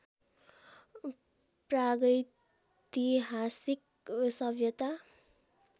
प्रागैतिहासिक सभ्यता